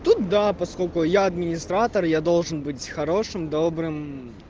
тут да поскольку я администратор я должен быть хорошим добрым